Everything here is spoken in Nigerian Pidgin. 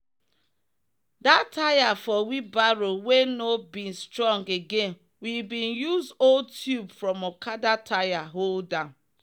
that tire for wheelbarrow wey no bin strong again we bin use old tube from okada tire hold am.